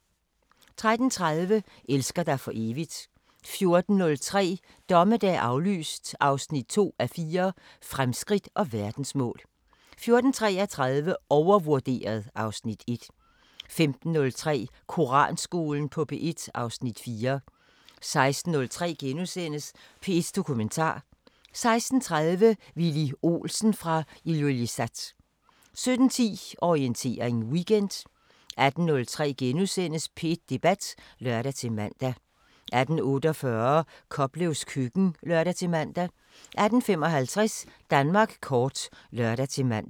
13:30: Elsker dig for evigt 14:03: Dommedag aflyst 2:4 – Fremskridt og verdensmål 14:33: Overvurderet (Afs. 1) 15:03: Koranskolen på P1 (Afs. 4) 16:03: P1 Dokumentar * 16:30: Villy Olsen fra Ilulissat 17:10: Orientering Weekend 18:03: P1 Debat *(lør-man) 18:48: Koplevs køkken (lør-man) 18:55: Danmark kort (lør-man)